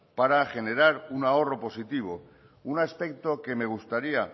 para generar un ahorro positivo un aspecto que me gustaría